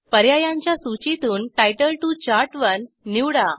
पर्यायांच्या सूचीतून तितले टीओ चार्ट1 निवडा